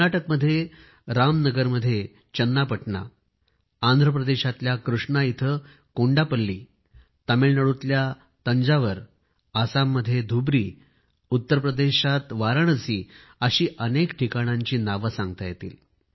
कर्नाटकमध्ये रामनगरममध्ये चन्नापटना आंध्र प्रदेशातल्या कृष्णा इथं कोंडापल्ली तामिळनाडूतल्या तंजौर आसाममध्ये धुबरी उत्तर प्रदेशात वाराणसी अशी अनेक ठिकाणांची नावे घेता येतील